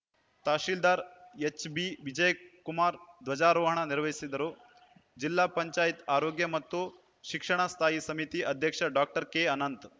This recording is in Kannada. ತಹಸೀಲ್ದಾರ್‌ ಎಚ್‌ಬಿವಿಜಯ್‌ಕುಮಾರ್‌ ಧ್ವಜಾರೋಹಣ ನೆರವೇರಿಸುವರು ಜಿಲ್ಲಾ ಪಂಚಾಯತ್ ಆರೋಗ್ಯ ಮತ್ತು ಶಿಕ್ಷಣ ಸ್ಥಾಯಿ ಸಮಿತಿ ಅಧ್ಯಕ್ಷ ಡಾಕ್ಟರ್ ಕೆಅನಂತ್‌